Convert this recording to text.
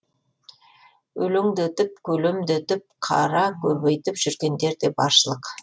өлеңдетіп көлемдетіп қара көбейтіп жүргендер де баршылық